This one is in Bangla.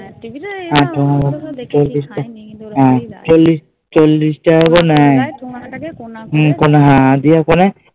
চল্লিশ টাকা করে নেয়